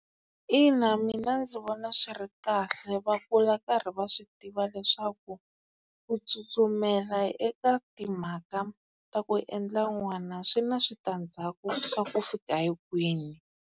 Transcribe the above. Ina mina ndzi vona swi ri kahle va kula karhi va swi tiva leswaku ku tsutsumela eka timhaka ta ku endla n'wana swi na switandzhaku ka ku fika hi kwini.